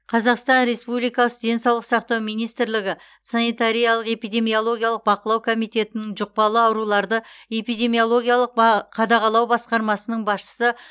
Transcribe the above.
қазақстан республикасы денсаулық сақтау министрлігі санитариялық эпидемиологиялық бақылау комитетінің жұқпалы ауруларды эпидемиологиялық ба қадағалау басқармасының басшысы